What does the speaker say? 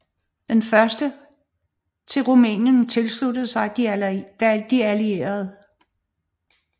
Den førte til at Rumænien tilsluttede sig de allierede